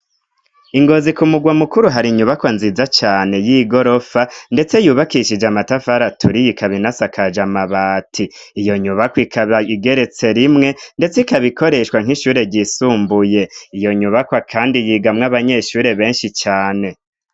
Ingozi ku mugwa mukuru hari inyubaka nziza cane y'i gorofa, ndetse yubakishije amatafaraturi yikabinasakaja amabati iyo nyubako ikaba igeretse rimwe, ndetse ikabikoreshwa nk'ishure ryisumbuye iyo nyubakwa, kandi yigamwo abanyeshure benshi cane.